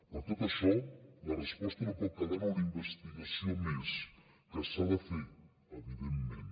per tot això la resposta no pot quedar en una investigació més que s’ha de fer evidentment